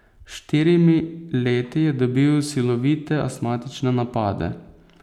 S štirimi leti je dobil silovite astmatične napade.